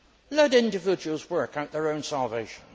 Let individuals work out their own salvation.